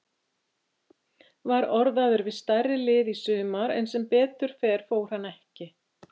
Var orðaður við stærri lið í sumar en sem betur fer fór hann ekki.